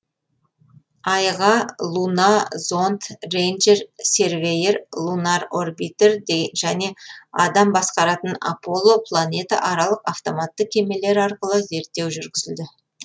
айға луна зонд рейнджер сервейер лунар орбитер және адам басқаратын аполло планетааралық автоматты кемелер арқылы зерттеу жүргізілді